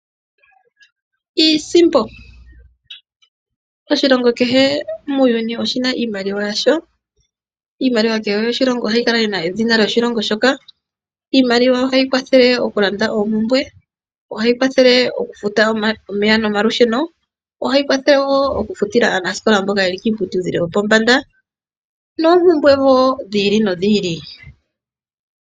Iisimpo, oshilongo kehe oyina iimaliwa yawo, iimaliwa ohayi kala yina edhina lyoshilongo shoka, iimaliwa ohayi kwathele okulanda oopumbwe, ohayi kwathele okufuta omeya nolusheno, okufutila aanasikola mboka yelui kiiputudhilo yopombanda noopumbwe woo dhi ili nidhi ili.